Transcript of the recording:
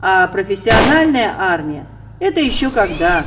профессиональная армия это ещё когда